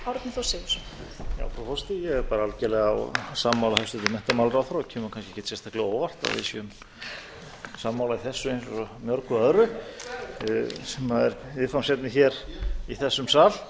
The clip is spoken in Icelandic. á óvart að við séum sammála í þessu eins og svo mörgu öðru sem er viðfangsefni hér í þessum sal